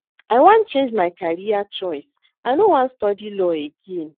I wan change my career choice. I no wan study law again